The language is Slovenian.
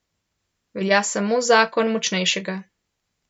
Velja samo zakon močnejšega.